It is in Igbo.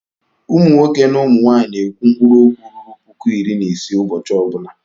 Ụmụ nwoke na ụmụ nwaanyị na-ekwu mkpụrụ okwu ruru puku iri na isii ụbọchị ọ bụla.